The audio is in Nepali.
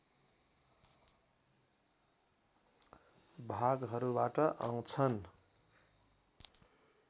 भागहरूबाट आउँछन्